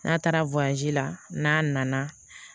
N'a taara la n'a nana